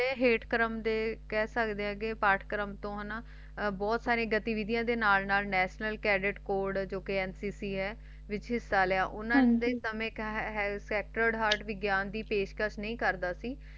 ਤੇ ਹਾਤੇ ਕਰਮ ਦੇ ਕਹਿ ਸਕਦੇ ਨੇ ਪੈਟ ਕਰਮ ਦੇ ਬੋਹਤ ਜੋ ਨਾ ਕਟਿਵਿੱਦਿਆਂ ਨੇ ਨਾਲ ਨੈਸ਼ਨਲ ਕੈਡੇਟ ਕੋਰਟ ਜੋ ਕ ਨੱਚੇ ਹੈ ਵਿਚਿਸਤਾ ਲਾਯਾ ਉਨ੍ਹਾਂ ਨੇ ਦੀਨਾ ਵਿਚ ਸੇਕਟੋਰਹਾਰ੍ਦ ਵਿਗੜਣ ਦੀ ਨਹੀਂ ਕਰਦਾ ਸੀ